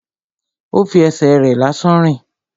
Ó fi ẹsẹ̀ rẹ̀ lásán rìn